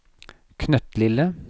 knøttlille